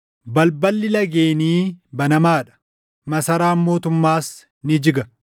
Balballi lageenii banamaa dha; masaraan mootummaas ni jiga.